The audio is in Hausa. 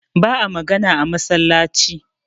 ba a magana a masallaci